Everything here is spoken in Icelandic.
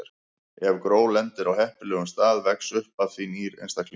Ef gró lendir á heppilegum stað vex upp af því nýr einstaklingur.